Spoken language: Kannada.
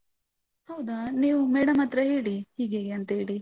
ಹೌದಾ ನೀವು madam ಹತ್ರ ಹೇಳಿ ಹೀಗೆ ಹೀಗೆ ಅಂತ ಹೇಳಿ.